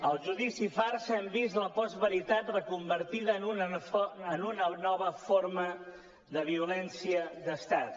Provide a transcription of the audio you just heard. al judici farsa hem vist la postveritat reconvertida en una nova forma de violència d’estat